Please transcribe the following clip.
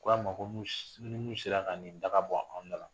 Ko a ma ko ni min sera ka nin daga ta ka bɔ anw dala